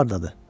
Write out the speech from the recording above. O hardadır?